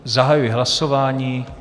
Zahajuji hlasování.